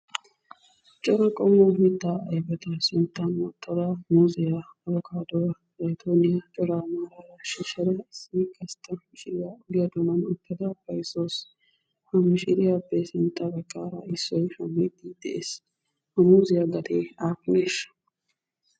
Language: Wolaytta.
Cora qommo mittaa ayfeta sinttan wottad muuziyaa, abbokkaaduwa, zayttoniya, coraa miyobaa shishshada issi gasta mishiriyaa ogiya doonaani uutada bayzzada de'awusu wusu. Ha mishiriyappe sintta xeera issoy shammiidi dees. Ha muuziyaa gate aappunesha?